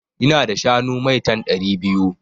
Ina da shanu maitan (ɗari biyu)